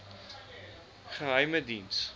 geheimediens